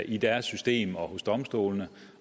i deres system og hos domstolene